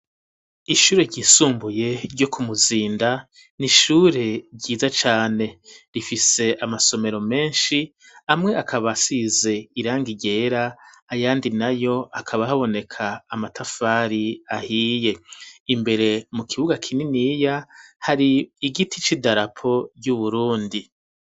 Ishure ryisumbuye ryo kumuzinda n'ishure ryiza cane rifise amasomero menshi amwe akaba asize irangi ryera ayandi nayo akaba haboneka amatafari ahiye ,imbere mu kibuga kininiya hari igiti c'idarapo y'uburundi.